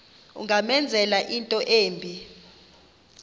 ungamenzela into embi